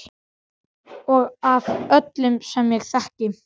Og af öllum sem ég þekki.